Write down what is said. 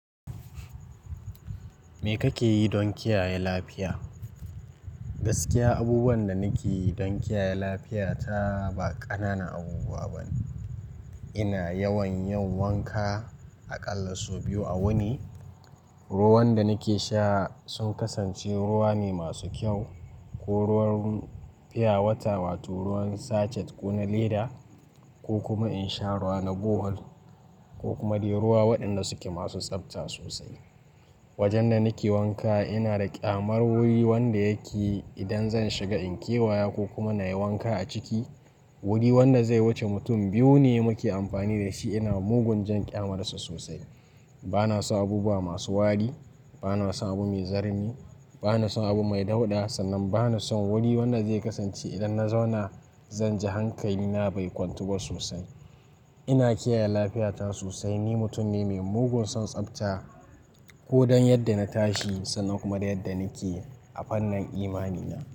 Me kake yi don kiyaye lafiya? Gaskiya abubuwan da nake yi don kiyaye lafiya ta ba ƙananan abubuwa bane. Ina yawan yin wanka aƙalla sau biyu a wuni. Ruwan da nake sha sun kasance ruwa ne masu kyau ko ruwan fiyawata, wato ruwan sachet ko na leda ko kuma in sha ruwa na gohal ko kuma dai ruwa waɗanda suke masu tsabta sosai. Wajen da nake wanka ina da ƙyamar wuri wanda yake idan zan shiga in kewa wa ko kuma na yi wanka a ciki, wuri wanda zai wuce mutum biyu ne muke amfani da shi. Ina mugun jan ƙyamarsa sosai. Bana son abubuwa masu wari, bana son abu mai zarni, bana son abu mai dauɗa sannan bana son wuri wanda zai kasance idan na zauna zan ji hankali na bai kwantu ba sosai. Ina kiyaye lafiyata sosai. Ni mutum ne mai mugun son tsabta ko don yadda na tashi sannan kuma da yadda nake a fannin imani na.